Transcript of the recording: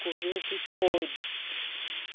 Comeu o que pôde.